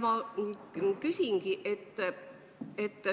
Ma küsingi selle kohta, et